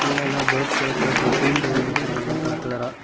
கீழே எல்லா பேர்ட்ஸ் வளக்கற அந்த கூண்டு வச்சுருக்காங்க கலர் கலரா .